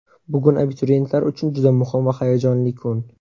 Bugun abituriyentlar uchun juda muhim va hayajonli kun.